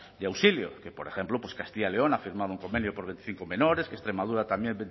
de auxilio que por ejemplo castilla león ha firmado un convenio por veinticinco menores que extremadura también